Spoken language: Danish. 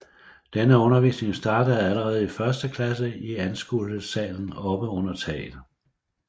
Denne undervisning startede allerede i første klasse i anskuelsessalen oppe under taget